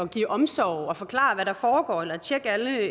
og give omsorg og forklare hvad der foregår eller tjekke alle